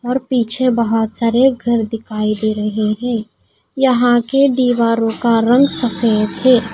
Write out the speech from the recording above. और पीछे बहोत सारे घर दिखाई दे रहे हैं यहां के दीवारों का रंग सफेद है।